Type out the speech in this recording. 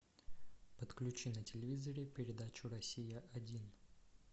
подключи на телевизоре передачу россия один